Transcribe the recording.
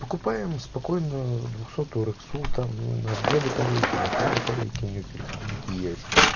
покупаем ему спокойно двухсотую рексу там на две батарейки на три батарейки у нее переходники есть